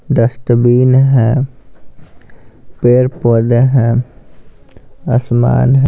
Dustbin है पैड-पौदे हैं आसमान है।